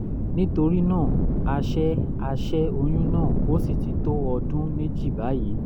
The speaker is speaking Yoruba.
nítorí náà a ṣẹ́ a ṣẹ́ oyún náà ó sì ti tó ọdún méjì báyìí